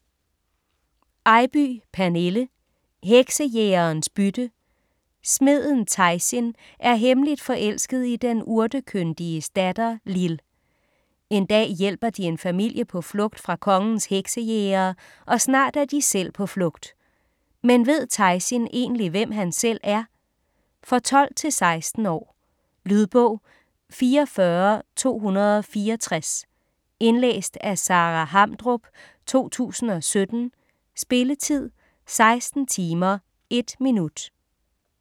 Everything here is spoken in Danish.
Eybye, Pernille: Heksejægerens bytte Smeden Taysin er hemmeligt forelsket i den urtekyndiges datter Lill. En dag hjælper de en familie på flugt fra kongens heksejægere, og snart er de selv på flugt. Men ved Taysin egentlig hvem han selv er? For 12-16 år. Lydbog 44264 Indlæst af Sara Hamdrup, 2017. Spilletid: 16 timer, 1 minut.